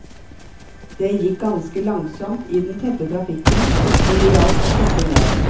Det gikk ganske langsomt i den tette trafikken, men det hjalp å sitte ned.